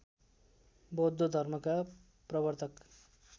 बौद्ध धर्मका प्रवर्तक